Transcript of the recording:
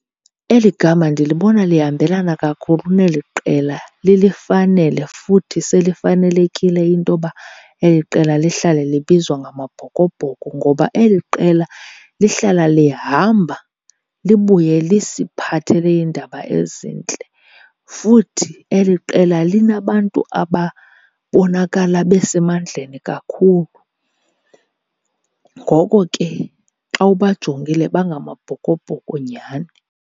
Eli gama ndilibona lihambelana kakhulu neli qela, lilifanele futhi selifanelekile into yoba eli qela lihlale libizwa ngamaBhokobhoko. Ngoba eli qela lihlala lihamba libuye lisiphathele iindaba ezintle. Futhi eli qela linabantu ababonakala besemandleni kakhulu, ngoko ke xa ubajongile bangamaBhokobhoko nyhani.